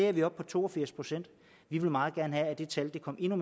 er vi oppe på to og firs procent vi vil meget gerne have at det tal kommer endnu